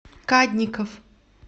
кадников